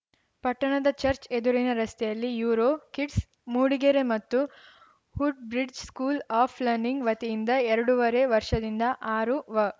ಪಟ್ಟಣದ ಚರ್ಚ್ ಎದುರಿನ ರಸ್ತೆಯಲ್ಲಿ ಯೂರೋ ಕಿಡ್ಸ್‌ ಮೂಡಿಗೆರೆ ಮತ್ತು Hood Bridge school of learning ವತಿಯಿಂದ ಎರಡೂವರೆ ವರ್ಷದಿಂದ ಆರು ವ